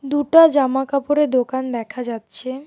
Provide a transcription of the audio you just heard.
দুটা জামা কাপড়ের দোকান দেখা যাচ্ছে.